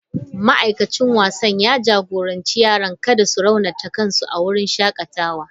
Ma'aikacin wasan ya jagoranci yaran da kada su raunata kansu a wurin shakatawa.